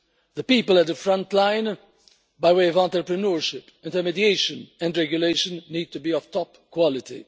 The people at the front line, by way of entrepreneurship, intermediation and regulation, need to be of top quality.